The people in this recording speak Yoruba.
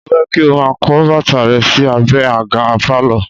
Mo fẹ́ kí o máa kó bàtà rẹ sí abẹ àga pálọ̀